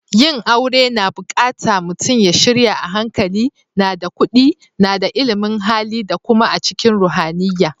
Yin aure na bukatta mutum ya shirya a hankali, na da kudi, na da illimin Hali da kuma a cikin ruhaniyya.